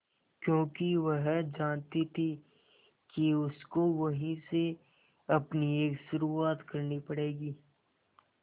क्योंकि वह जानती थी कि उसको वहीं से अपनी एक शुरुआत करनी पड़ेगी